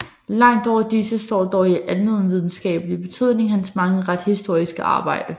Langt over disse står dog i almenvidenskabelig betydning hans mange retshistoriske arbejder